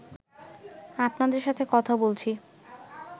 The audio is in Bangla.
আপনাদের সাথে কথা বলছি